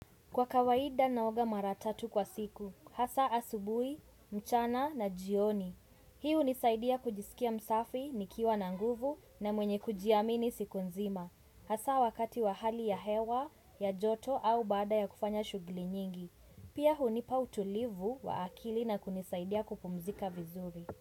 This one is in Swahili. Kwa kawaida naoga mara tatu kwa siku, hasa asubuhi, mchana na jioni. Hii hunisaidia kujisikia msafi, nikiwa na nguvu na mwenye kujiamini siku nzima. Hasa wakati wa hali ya hewa, ya joto au baada ya kufanya shughuli nyingi. Pia hunipa utulivu wa akili na kunisaidia kupumzika vizuri.